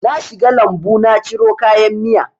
Na shiga lambu na ciro kayan miya